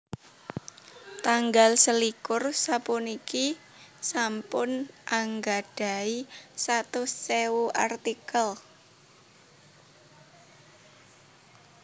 Tanggal selikur sapuniki sampun anggadhahi satus ewu artikel